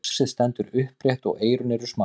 faxið stendur upprétt og eyrun eru smá